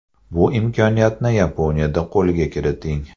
Bu imkoniyatni Yaponiyada qo‘lga kiriting!